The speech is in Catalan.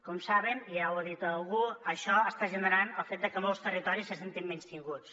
com saben ja ho ha dit algú això està generant el fet de que molts territoris se sentin menystinguts